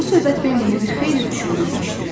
Bu söhbət Bambini bir xeyli düşündürmüşdü.